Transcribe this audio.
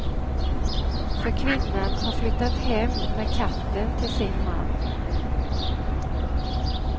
För kvinnan har flyttat hem med katten till sin man.